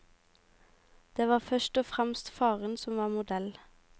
Det var først og fremst faren som var modell.